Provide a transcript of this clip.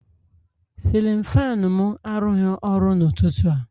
Sịlịn faanụ mụ arụghi ọrụ n'ụtụtụ a